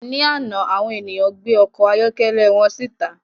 Ní àná, àwọn ènìyàn gbé ọkọ̀ ayọ́kẹ́lẹ́ wọn síta